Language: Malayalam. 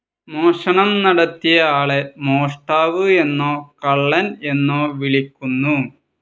മോഷണം നടത്തിയ ആളെ മോഷ്ടാവ് എന്നോ കള്ളൻ എന്നോ വിളിക്കുന്നു.